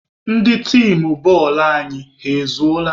Ndị tim bọọlụ anyị, ha ezuola?